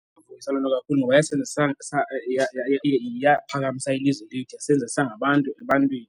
kakhulu ngoba yasenza yaphakamisa ilizwe lethu yasenzasa sangabantu ebantwini.